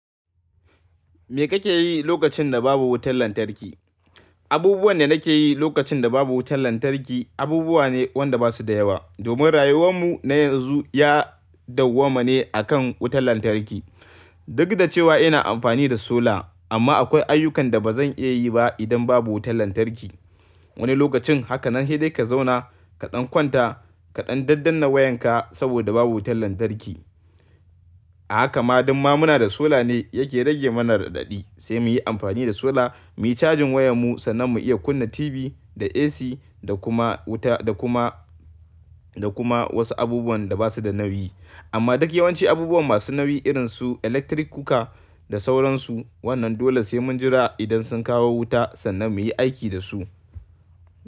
Me kake yi lokacin da babu wutar lantarki? Abubuwan da nake yi lokacin da babu wutar lantarki abubuwa ne wanda ba su da yawa. Domin rayuwar mu na yanzu ya dawwama ne a kan wutar lantarki. Duk da cewa ina amfani da sola, amma akwai ayyukan da ba zan iya yi ba idan babu wutar lantarki. Wani lokacin haka nan sai dai ka zauna kaɗan kwanta kaɗan daddanna wayanka saboda babu wutar lantarki. A haka ma dumma muna da sola ne yake rage mana raɗaɗi. Sai muyi amfani da sola muyi cajin wayar mu sannan mu iya kunna tibi da AC da kuma wuta da kuma, da kuma wasu abubuwan da ba su da nauyi. Amma duk yawanci abubuwan masu nauyi irinsu electric kuka da sauransu, wannan dole sai mun jira idan sun kawo wuta sannan muyi aiki da su.